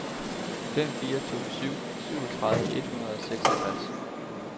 fem fire to syv syvogtredive et hundrede og seksogtres